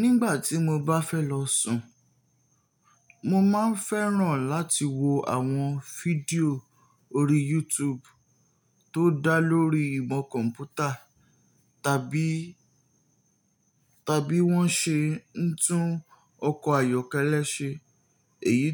Nígbà tí mo bá fẹ́ lọ sùn, mo máa ń fẹ́ràn láti wo àwọn fídíò orí YouTube tó dá lórí ìmọ̀ kọ̀ḿpútà tàbí wọ́n ṣe ń tún ọkọ̀ ayọ́kẹ́lẹ́ ṣe, èyí